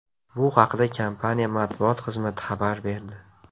Bu haqda kompaniya matbuot xizmati xabar berdi.